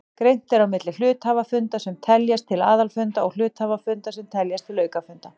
Greint er á milli hluthafafunda sem teljast til aðalfunda og hluthafafunda sem teljast til aukafunda.